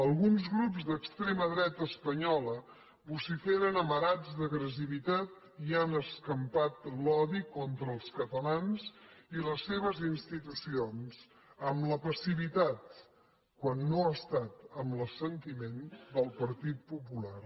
alguns grups d’extrema dreta espanyola vociferen amarats d’agressivitat i han escampat l’odi contra els catalans i les seves institucions amb la passivitat quan no ha estat amb l’assentiment del partit popular